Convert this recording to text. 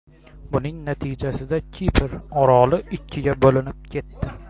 Buning natijasida Kipr oroli ikkiga bo‘linib ketdi.